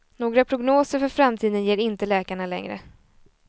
Några prognoser för framtiden ger inte läkarna längre.